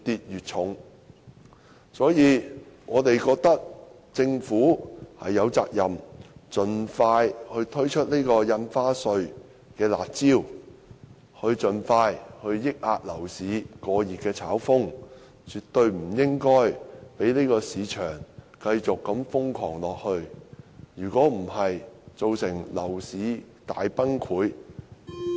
因此，我們覺得政府有責任盡快推出印花稅"辣招"，盡快遏抑樓市過熱的炒風，絕對不應該任由市場繼續瘋狂下去。否則，造成樓市大崩潰......